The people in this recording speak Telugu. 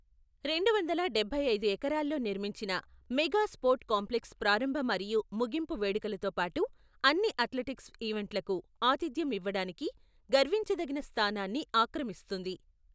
రెండు వందల డబ్బై ఐదు ఎకరాల్లో నిర్మించిన మెగా స్పోర్ట్ కాంప్లెక్స్ ప్రారంభ మరియు ముగింపు వేడుకలతో పాటు అన్ని అథ్లెటిక్స్ ఈవెంట్లకు ఆతిథ్యం ఇవ్వడానికి గర్వించదగిన స్థానాన్ని ఆక్రమిస్తుంది.